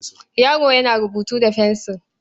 Yaro yana rubutu da fensil.